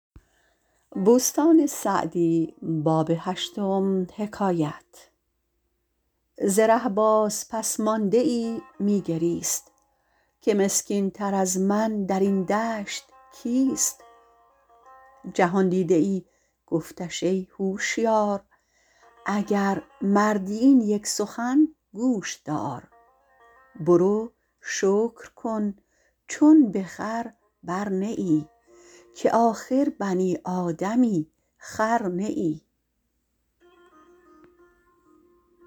ز ره باز پس مانده ای می گریست که مسکین تر از من در این دشت کیست جهاندیده ای گفتش ای هوشیار اگر مردی این یک سخن گوش دار برو شکر کن چون به خر بر نه ای که آخر بنی آدمی خر نه ای